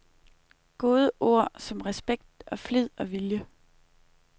Gode ord som respekt og flid og vilje.